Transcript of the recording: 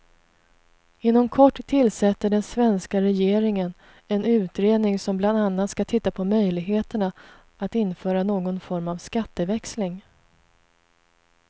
Inom kort tillsätter den svenska regeringen en utredning som bland annat skall titta på möjligheterna att införa någon form av skatteväxling.